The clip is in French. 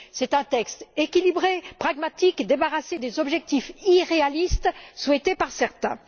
Il s'agit d'un texte équilibré, pragmatique, débarrassé des objectifs irréalistes souhaités par certains.